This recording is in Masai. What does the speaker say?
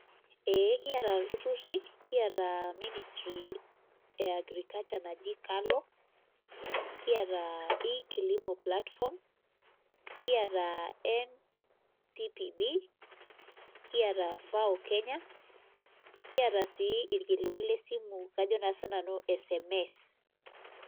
Eeh kiata ilturrurri kiata ministry e agriculture naji KALO kiata e kilimo platform kiata NCPB kiata FAO Kenya kiata sii irkiliku lesimu ajo naa sinanu SMS.